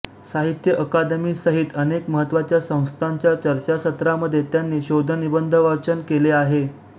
साहित्य अकादमी सहीत अनेक महत्वाच्या संस्थांच्या चर्चासत्रांमध्ये त्यांनी शोधनिबंधवाचन केले आहे